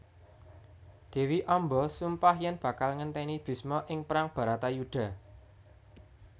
Dewi Amba sumpah yen bakal ngenteni Bisma ing perang Baratayuda